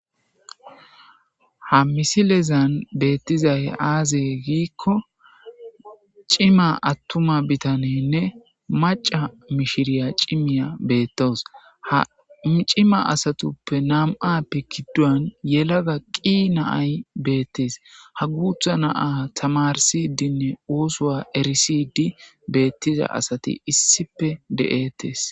Ha misilezan beettizay aaze giikko cima attuma bitanenne maca mishiriya cimiya beettows hacima asatuppe nam7a pikiduan yelaga qii naay beettes ha guutha naa tamarsidinne oosoa erisidi beettiza asati issipe de'ettees.